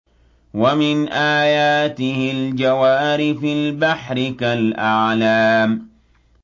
وَمِنْ آيَاتِهِ الْجَوَارِ فِي الْبَحْرِ كَالْأَعْلَامِ